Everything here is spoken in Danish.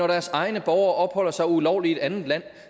deres egne borgere opholder sig ulovligt i et andet land